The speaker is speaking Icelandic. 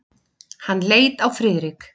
Hann leit á Friðrik.